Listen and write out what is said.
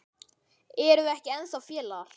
Erum við ekki ennþá félagar?